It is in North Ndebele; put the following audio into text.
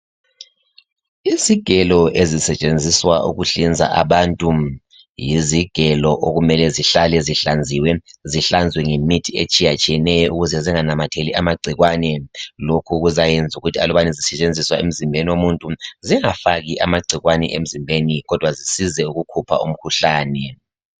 Izigelo ezisetshenziswa ukuhlinza abantu yizigelo okumele zihlale zihlanziwe zihlanzwe ngemithi etshiya tshiyeneyo ukuze zinganamatheli amagcikwane lokhu kuzayenza ukuthi aluba zisetshenziswa emzimbeni womuntu zingahlali amagcikwane emzimbeni kodwa zisize ukukhupha umkhuhlane.